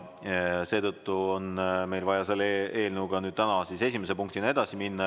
Seetõttu on meil vaja selle eelnõuga täna esimese punktina edasi minna.